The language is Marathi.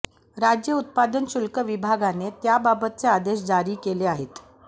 राज्य उत्पादन शुल्क विभागाने त्याबाबतचे आदेश जारी केले आहेत